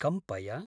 कम्पय।